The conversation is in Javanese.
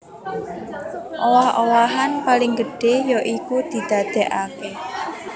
Owah owahan paling gedhé ya iku didadèkaké